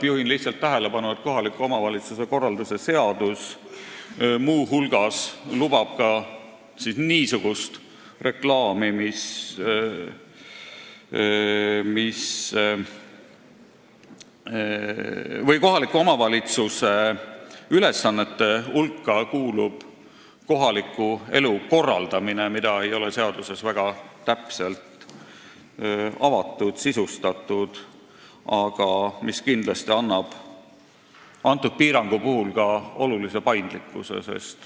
" Juhin lihtsalt tähelepanu, et kohaliku omavalitsuse ülesannete hulka kuulub kohaliku elu korraldamine, mida ei ole seaduses väga täpselt avatud, sisustatud, aga mis kindlasti annab selle piirangu puhul ka olulise paindlikkuse.